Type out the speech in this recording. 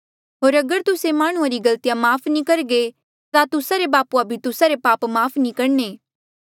होर अगर तुस्से माह्णुंआं रे गलतिया माफ़ नी करघे ता तुस्सा रे बापूआ भी तुस्सा रे पाप माफ़ नी करणे